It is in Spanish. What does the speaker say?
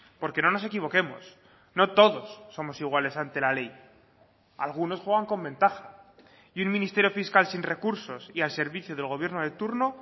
porque no nos equivoquemos no todos somos iguales ante la ley algunos juegan con ventaja y un ministerio fiscal sin recursos y al servicio del gobierno de turno